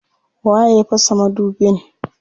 Waye ya fasa madubin?